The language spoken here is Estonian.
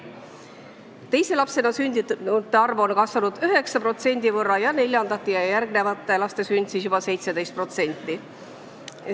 Teise lapsena sündinute arv on kasvanud 9% ning neljandate ja järgnevate laste sündide arv juba 17%.